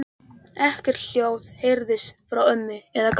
Ekkert hljóð heyrðist frá ömmu eða Gamla.